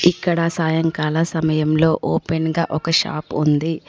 ఇక్కడ సాయంకాల సమయంలో ఓపెన్ గా ఒక షాప్ ఉంది.